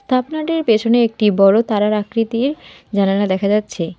থাপনাটির পেছনে একটি বড়ো তারার আকৃতির জানালা দেখা যাচ্ছে।